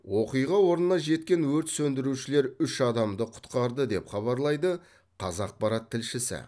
оқиға орнына жеткен өрт сөндірушілер үш адамды құтқарды деп хабарлайды қазақпарат тілшісі